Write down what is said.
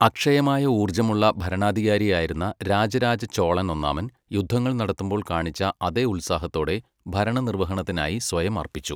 അക്ഷയമായ ഊർജ്ജമുള്ള ഭരണാധികാരിയായിരുന്ന രാജരാജ ചോളൻ ഒന്നാമൻ, യുദ്ധങ്ങൾ നടത്തുമ്പോൾ കാണിച്ച അതേ ഉത്സാഹത്തോടെ ഭരണനിർവ്വഹണത്തിനായി സ്വയം അർപ്പിച്ചു.